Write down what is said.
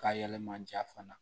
Ka yɛlɛma ja fana